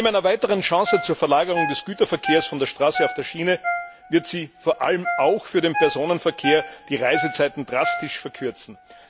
Neben einer weiteren Chance zur Verlagerung des Güterverkehrs von der Straße auf die Schiene wird sie vor allem auch für den Personenverkehr die Reisezeiten drastisch verkürzen.